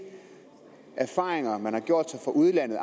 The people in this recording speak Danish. erfaringer man har gjort sig i udlandet